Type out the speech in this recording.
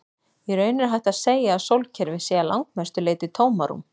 Í raun er hægt að segja að sólkerfið sé að langmestu leyti tómarúm.